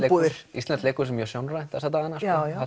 íslenskt leikhús er mjög sjónrænt þessa dagana